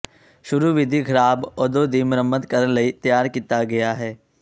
ਸ਼ੁਰੂ ਵਿਧੀ ਖਰਾਬ ਓਦੋ ਦੀ ਮੁਰੰਮਤ ਕਰਨ ਲਈ ਤਿਆਰ ਕੀਤਾ ਗਿਆ ਹੈ